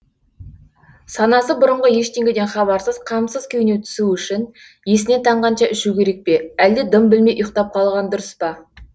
санасы бұрынғы ештеңеден хабарсыз қамсыз күйіне түсу үшін есінен танғанша ішу керек пе әлде дым білмей ұйықтап қалған дұрыс па